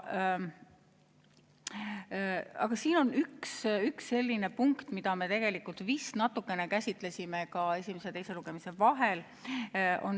Aga siin on üks selline punkt, mida me tegelikult vist natukene käsitlesime ka esimese ja teise lugemise vahel.